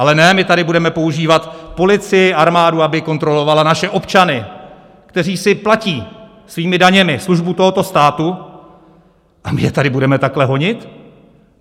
Ale ne, my tady budeme používat policii, armádu, aby kontrolovala naše občany, kteří si platí svými daněmi službu tohoto státu, a my je tady budeme takhle honit?